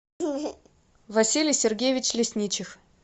василий сергеевич лесничих